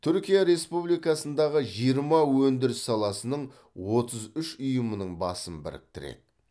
түркия республикасындағы жиырма өндіріс саласының отыз үш ұйымының басын біріктіреді